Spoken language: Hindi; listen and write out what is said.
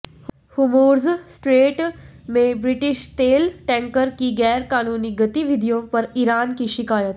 हुर्मुज़ स्ट्रेट में ब्रिटिश तेल टैंकर की ग़ैर क़ानूनी गतिविधियों पर ईरान की शिकायत